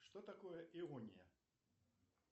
что такое иония